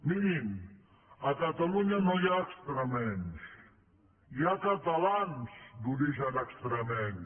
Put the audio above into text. mirin a catalunya no hi ha extremenys hi ha catalans d’origen extremeny